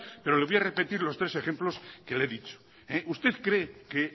pero le voy a repetir los tres ejemplos que le he dicho usted cree que